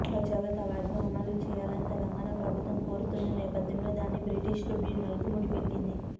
బచావత్ అవార్డును అమలు చేయాలని తెలంగాణ ప్రభుత్వం కోరుతున్న నేపథ్యంలో దాన్ని బ్రిజేష్ ట్రిబ్యునల్కు ముడిపెట్టింది